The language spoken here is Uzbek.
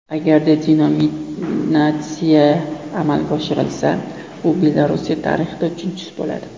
Agarda denominatsiya amalga oshirilsa, u Belorussiya tarixida uchinchisi bo‘ladi.